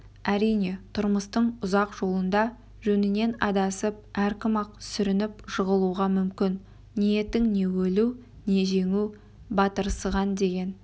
әрине тұрмыстың ұзақ жолында жөнінен адасып әркім-ақ сүрініп жығылуға мүмкін ниетің не өлу не жеңу батырсыған деген